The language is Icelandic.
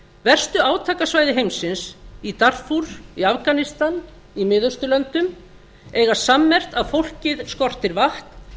verstu átakasvæði heimsins í darfúr í afganistan í miðausturlöndum eiga sammerkt að fólkið skortir vatn